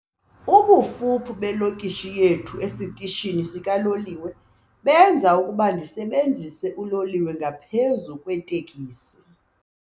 Ubufuphi belokishi yethu esitishini sikaloliwe benza ukuba ndisebenzise uloliwe ngaphezu kweetekisi.